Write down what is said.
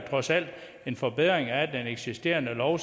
trods alt er en forbedring af den eksisterende lov